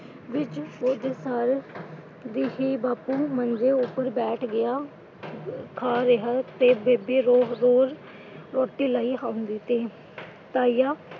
ਵਿੱਚ ਵਿਚ ਸਾਰ ਦੀ ਹੀ, ਬਾਪੂ ਮੰਜੇ ਉੱਪਰ ਬੈਠ ਗਿਆ ਖਾ ਰਿਹਾ ਤੇ ਬੇਬੇ ਰੋਹ ਰੋਜ ਰੋਟੀ ਲਈ ਆਉਂਦੀ ਸੀ। ਤਾਇਆ,